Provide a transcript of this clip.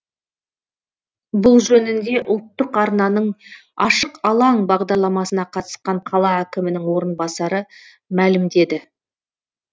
бұл жөнінде ұлттық арнаның ашық алаң бағдарламасына қатысқан қала әкімінің орынбасары мәлімдеді